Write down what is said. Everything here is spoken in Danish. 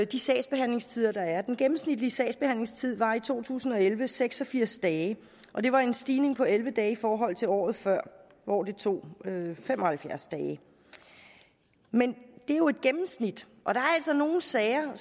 de sagsbehandlingstider der er den gennemsnitlige sagsbehandlingstid var i to tusind og elleve seks og firs dage og det var en stigning på elleve dage i forhold til året før hvor det tog fem og halvfjerds dage men det er jo et gennemsnit og der er altså nogle sager